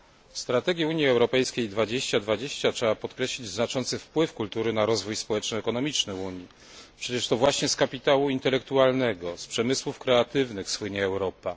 W strategii Unii Europejskiej 2020 trzeba podkreślić znaczący wpływ kultury na rozwój społeczno ekonomiczny w Unii, przecież to właśnie z kapitału intelektualnego, z przemysłów kreatywnych słynie Europa.